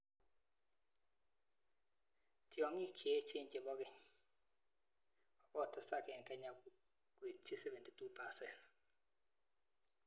Tyong'iik cheechen chepo ng'eny kokotesak eng Kenya nekitchi 72%